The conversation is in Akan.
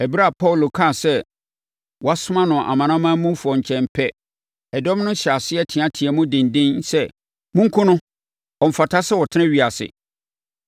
Ɛberɛ a Paulo kaa sɛ wɔasoma no amanamanmufoɔ nkyɛn pɛ, ɛdɔm no hyɛɛ aseɛ teateaam denden sɛ, “Monkum no! Ɔmfata sɛ ɔtena ewiase!”